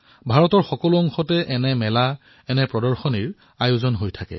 ভাৰতৰ প্ৰতিটো প্ৰান্ততে এনে ধৰণৰ মেলা প্ৰদৰ্শনীৰ আয়োজন কৰা হয়